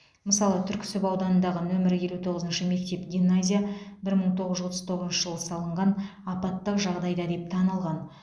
мысалы түрксіб ауданындағы нөмірі елу тоғызыншы мектеп гимназия бір мың тоғыз жүз отыз тоғызыншы жылы салынған апаттық жағдайда деп танылған